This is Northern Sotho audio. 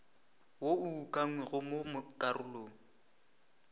wo o ukangwego mo karolong